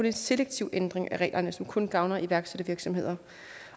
en selektiv ændring af reglerne som kun gavner iværksættervirksomheder